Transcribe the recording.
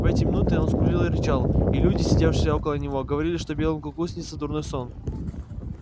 в эти минуты он скулил и рычал и люди сидевшие около него говорили что белому клыку снится дурной сон